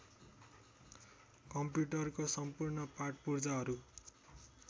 कम्प्युटरको सम्पूर्ण पाटपुर्जाहरू